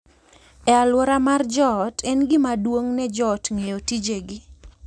E alwora mar joot, en gima duong’ ne jo ot ng’eyo tijegi